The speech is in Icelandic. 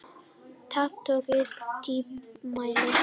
Tappatogari með dýptarmæli.